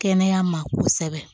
Kɛnɛya ma kosɛbɛ